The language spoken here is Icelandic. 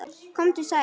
Komdu sæll.